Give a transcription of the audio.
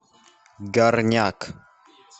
горняк